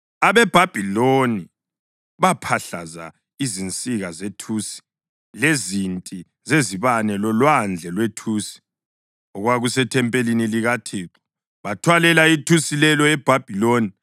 AbeBhabhiloni baphahlaza izinsika zethusi lezinti zezibane loLwandle lwethusi, okwakusethempelini likaThixo. Bathwalela ithusi lelo eBhabhiloni.